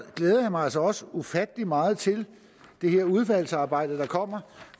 glæder mig altså også ufattelig meget til det her udvalgsarbejde der kommer